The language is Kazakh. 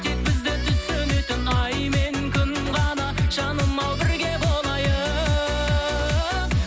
тек бізді түсінетін ай мен күн ғана жаным ау бірге болайық